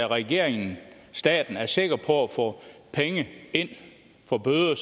regeringen staten er sikker på at få penge ind for bøder